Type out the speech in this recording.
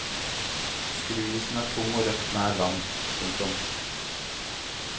Skruisen er tung og røff nær land. punktum